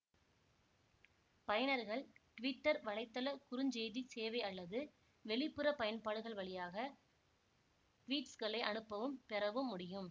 பயனர்கள் ட்விட்டர் வலைத்தள குறுஞ் செய்தி சேவை அல்லது வெளிப்புற பயன்பாடுகள் வழியாக ட்வீட்ஸ்களை அனுப்பவும் பெறவும் முடியும்